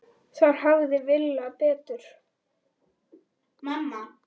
Þar hafði Villa betur.